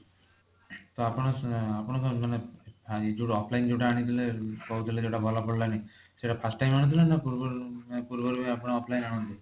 ତ ଆପଣ ଆପଣ କଣ ମାନେ ଏଇ ଯୋଊ offline ଯୋଊଟା ଆଣିଥିଲେ କହୁଥିଲେ ଯୋଊଟା ଭଲ ପଡିଲାନି ସେଟ first time ଆଣିଥିଲେ ନା ତା ପୂର୍ବରୁ ନା ତା ପୂର୍ବରୁ offline ଆଣୁଥିଲେ